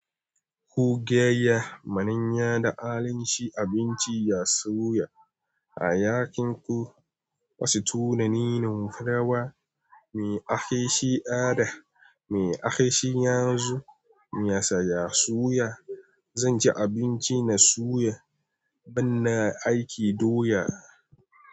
Ku gayya, manya da al'anshi abinci ya suya. A yakin ku wasu tunanin rawa, me ake shi ada, me ake shi yanzu, me saya suya. Zan ci abinci na suya ban na aiki doya.